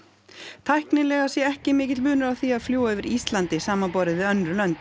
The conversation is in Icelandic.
tæknilega sé ekki mikill munur á því að fljúga yfir Íslandi samanborið við önnur lönd